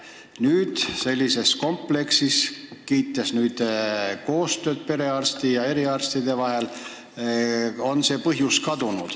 Nüüd te kiitsite sellises kompleksis tehtavat koostööd perearsti ja eriarstide vahel ning see mure on kadunud.